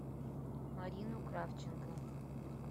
марину кравченко